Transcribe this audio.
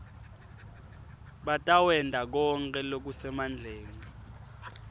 batawenta konkhe lokusemandleni